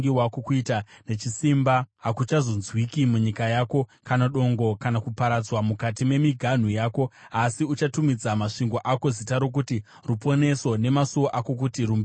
Kuita nechisimba hakuchazonzwikwa munyika yako, kana dongo kana kuparadzwa mukati memiganhu yako, asi uchatumidza masvingo ako zita rokuti Ruponeso nemasuo ako kuti Rumbidzo.